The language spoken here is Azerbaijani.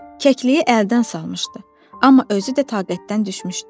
O kəkliyi əldən salmışdı, amma özü də taqətdən düşmüşdü.